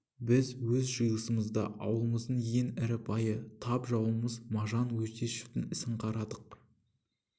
біз өз жиылысымызда аулымыздың ең ірі байы тап жауымыз мажан өтешовтің ісін қарадық